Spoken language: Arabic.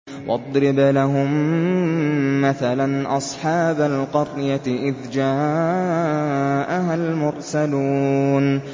وَاضْرِبْ لَهُم مَّثَلًا أَصْحَابَ الْقَرْيَةِ إِذْ جَاءَهَا الْمُرْسَلُونَ